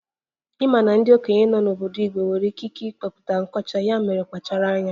Ị ma na ndị okenye nọ n'obodo Igbo nwere ikike ịkpọpụta nkọcha, ya mere kpachara anya